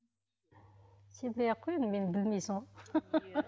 сенбей ақ кой енді мені білмейсің ғой